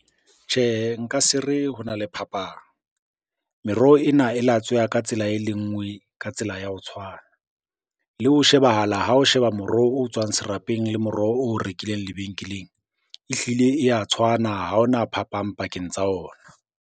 Tjhehe, nka se re hona le phapang. Meroho ena e latsweha ka tsela e le nngwe, ka tsela ya ho tshwana. Le ho shebahala ha o sheba moroho o tswang serapeng le moroho o rekileng lebenkeleng, ehlile e ya tshwana ha ona phapang pakeng tsa ona.